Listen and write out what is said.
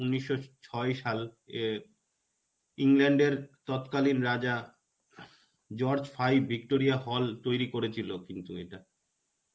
উনিশশো ছয় সাল ইয়ে England এর তত্কালীন রাজা George five Victoria hall তৈরী করেছিলো কিন্তু এটা.